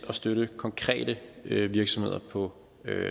støtte konkrete virksomheder på